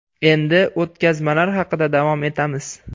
Endi o‘tkazmalar haqida davom etamiz.